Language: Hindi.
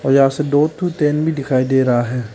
यहां से दो ठो ट्रेन भी दिखाई दे रहा है।